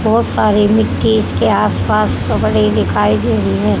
बहोत सारे मिट्टी इसके आसपास कपड़े दिखाई दे रही है।